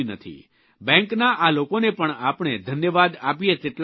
બેંકના આ લોકોને પણ આપણે ધન્યવાદ આપીએ તેટલા ઓછા છે